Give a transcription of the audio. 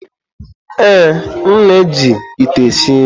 Ee, m na-eji ite esi nri.